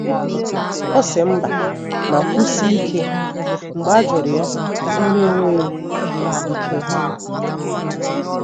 O si mba ma kwusie ike mgbe ajuru ya ihe ona enweghi ike ihapu